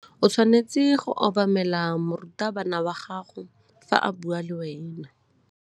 O tshwanetse go obamela morutabana wa gago fa a bua le wena.